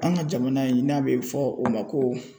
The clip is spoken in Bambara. An ka jamana in n'a bɛ fɔ o ma ko.